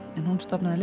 en hún stofnaði